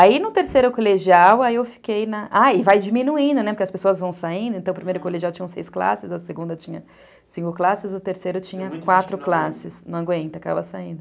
Aí no terceiro colegial, aí eu fiquei na, ah, e vai diminuindo, né, porque as pessoas vão saindo, então o primeiro colegial tinha seis classes, a segunda tinha cinco classes, o terceiro tinha quatro classes, não aguenta, acaba saindo.